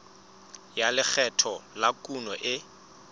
ya lekgetho la kuno e